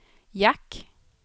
jack